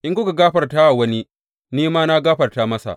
In kuka gafarta wa wani, ni ma na gafarta masa.